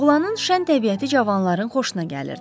Oğlanın şən təbiəti cavanların xoşuna gəlirdi.